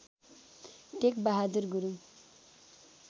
Tekbahadur Gurung